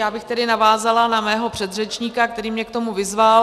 Já bych tedy navázala na svého předřečníka, který mě k tomu vyzval.